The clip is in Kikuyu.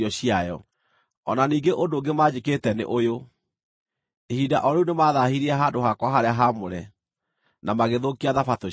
O na ningĩ ũndũ ũngĩ manjĩkĩte nĩ ũyũ: Ihinda o rĩu nĩmathaahirie handũ-hakwa-harĩa-haamũre, na magĩthũkia Thabatũ ciakwa.